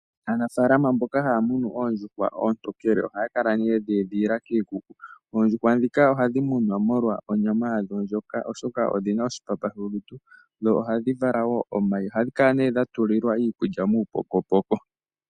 Aanafaalama mboka haya muna oondjuhwa oontookele ohaya kala nee yedhi edhilila kiikuku. Ohadhi mumwa molwa onyama yadho, oshoka odhi na oshipapa sholutu na ohadhi vala woo omayi. Ohadhi kala nee dha tulilwa iikulya yawo muupokopoko.